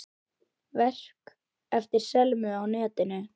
Verk eftir Selmu á netinu